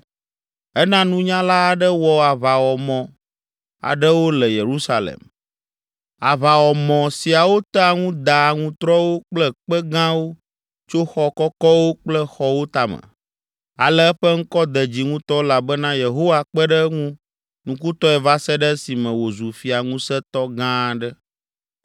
Ena nunyala aɖe wɔ aʋawɔmɔ aɖewo le Yerusalem, aʋawɔmɔ siawo tea ŋu daa aŋutrɔwo kple kpe gãwo tso xɔ kɔkɔwo kple xɔwo tame. Ale eƒe ŋkɔ de dzi ŋutɔ elabena Yehowa kpe ɖe eŋu nukutɔe va se ɖe esime wòzu fia ŋusẽtɔ gã aɖe.